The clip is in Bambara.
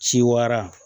Ci wara